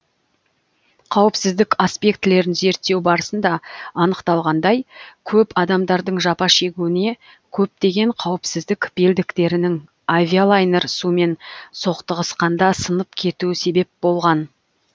қауіпсіздік аспектілерін зерттеу барысында анықталғандай көп адамдардың жапа шегуіне көптеген қауіпсіздік белдіктерінің авилайнер сумен соқтығысқанда сынып кетуі себеп болған